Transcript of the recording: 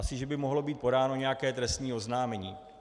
Asi že by mohlo být podáno nějaké trestní oznámení.